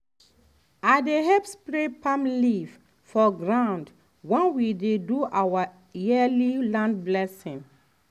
i dey help spread palm leaf for ground when we dey do our yearly land blessing